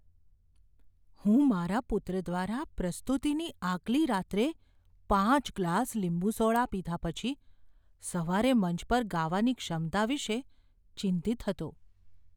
હું મારા પુત્ર દ્વારા પ્રસ્તુતિની આગલી રાત્રે પાંચ ગ્લાસ લીંબુ સોડા પીધા પછી સવારે મંચ પર ગાવાની ક્ષમતા વિશે ચિંતિત હતો.